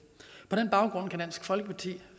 på den baggrund kan dansk folkeparti